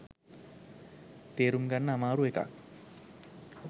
තේරුම් ගන්න අමාරු එකක්